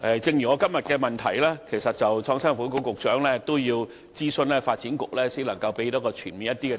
正如就我的主體質詢，創新及科技局局長也要諮詢發展局，才能提供較全面的答覆。